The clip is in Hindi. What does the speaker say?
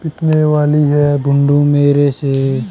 पीटने वाली है मेरे से--